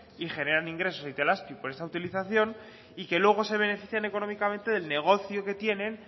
y generan ingresos a itelazpi por esta utilización y que luego se benefician económicamente del negocio que tienen